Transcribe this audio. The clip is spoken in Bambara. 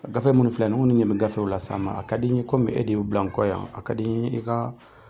Gafe minnu filɛ nin ye , minnu bɛ nin gafew ninnu na sisan, a ka di n ye kɔmi e de y'u bila nkɔ yan, a ka di i ka.